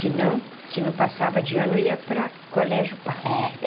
Senão, se não passava de ano, ia para colégio pago.